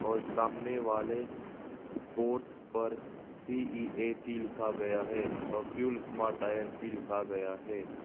सामने वाले बोर्ड पर सी_ई_ए_टी लिखा गया है और फ्यूल स्मार्ट टायर्स भी लिखा गया है।